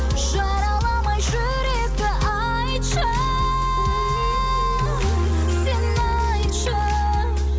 жараламай жүректі айтшы сен айтшы